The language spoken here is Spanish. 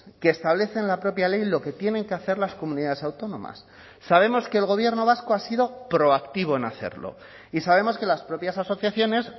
que establece en la propia ley lo que tienen que hacer las comunidades autónomas sabemos que el gobierno vasco ha sido proactivo en hacerlo y sabemos que las propias asociaciones